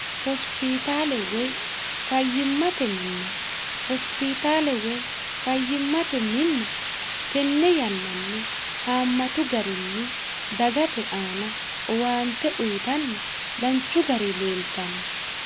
hosipitale woy fayyimmate minna hospitaale woy fayyimmate minna tenne yannanni haammatu garinni dagate aana owaante uyitanni danchu gari leeltanno